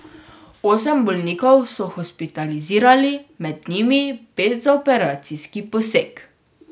Osem bolnikov so hospitalizirali, med njimi pet za operacijski poseg.